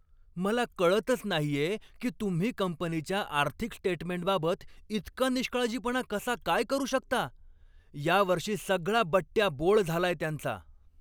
मला कळतच नाहीये की तुम्ही कंपनीच्या आर्थिक स्टेटमेंटबाबत इतका निष्काळजीपणा कसा काय करू शकता. या वर्षी सगळा बट्ट्याबोळ झालाय त्यांचा.